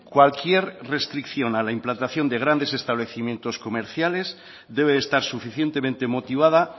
cualquier restricción a la implantación de grandes establecimientos comerciales debe estar suficientemente motivada